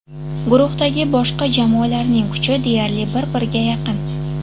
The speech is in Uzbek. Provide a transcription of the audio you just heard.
Guruhdagi boshqa jamoalarning kuchi deyarli bir-birga yaqin.